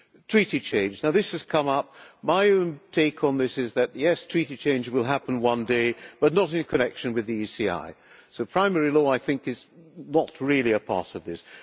Treaty change has come up my own take on this is that yes, Treaty change will happen one day, but not in connection with the ECI, so primary law is not really a part of this.